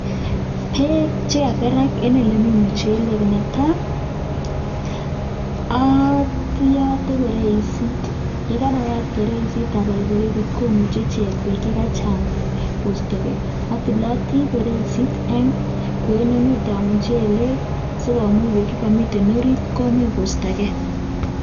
Beek chekakerak en ole mi muchelek ne tai: oyote bereisit, ye karayat bereisit abal bereisit komuche ichek beek che kachang koisto gee. Atilati bereisit en kwenutab muchelek asi komuch beek che komiten orit komuch kosto gee.